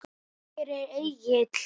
Hvar er Egill?